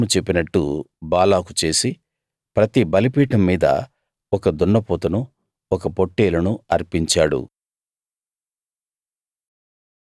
బిలాము చెప్పినట్టు బాలాకు చేసి ప్రతి బలిపీఠం మీద ఒక దున్నపోతును ఒక పొట్టేలును అర్పించాడు